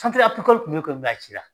kun be yen koyi a cira.